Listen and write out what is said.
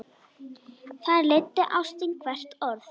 Þar leiddi ástin hvert orð.